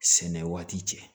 Sɛnɛ waati cɛ